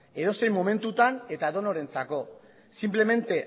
edozein momentutan eta edonorentzako simplemente